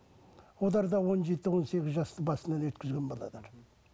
да он жеті он сегіз жасты басынан өткізген мхм